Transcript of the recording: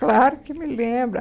Claro que me lembro.